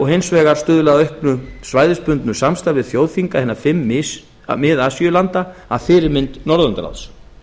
hins vegar stuðla að auknu svæðisbundnu samstarfi þjóðþinga hinna fimm mið asíulanda að fyrirmynd norðurlandaráðs